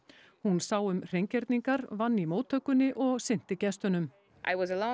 hún sá um hreingerningar vann í móttökunni og sinnti gestunum